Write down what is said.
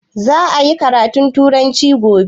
Za a yi karatun turanci gobe?